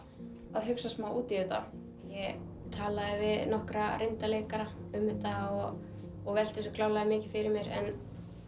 að hugsa út í þetta ég talaði við nokkra reynda leikara um þetta og og velti þessu klárlega mikið fyrir mér en